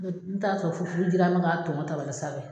n taa sɔrɔ furu furu jiran bɛ ka tɔn n ka tabali sanfɛ.